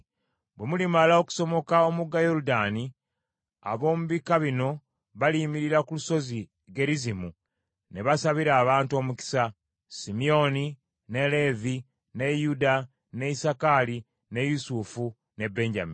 Bwe mulimala okusomoka omugga Yoludaani, ab’omu bika bino baliyimirira ku Lusozi Gerizimu ne basabira abantu omukisa: Simyoni, ne Leevi, ne Yuda, ne Isakaali, ne Yusufu, ne Benyamini.